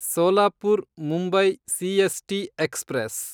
Solapur Mumbai CST express